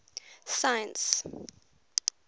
science